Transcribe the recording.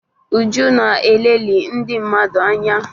Uju na-elelị ndị mmadụ anya